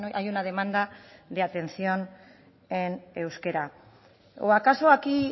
hay una demanda de atención en euskera o acaso aquí